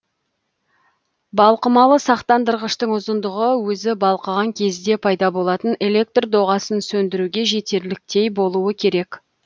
балқымалы сақтандырғыштың ұзындығы өзі балқыған кезде пайда болатын электр доғасын сөндіруге жетерліктей болуы керек